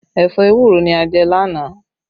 Ẹ̀fọ́ ewúro ni a jẹ lánàá